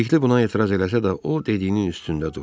Bilikli buna etiraz eləsə də, o dediyinin üstündə durdu.